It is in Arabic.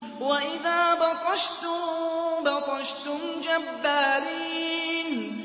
وَإِذَا بَطَشْتُم بَطَشْتُمْ جَبَّارِينَ